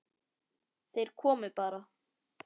Þeir komu bara.